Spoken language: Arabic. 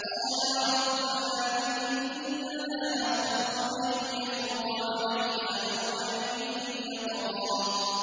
قَالَا رَبَّنَا إِنَّنَا نَخَافُ أَن يَفْرُطَ عَلَيْنَا أَوْ أَن يَطْغَىٰ